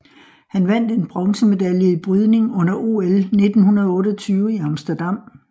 Han vandt en bronzemedalje i brydning under OL 1928 i Amsterdam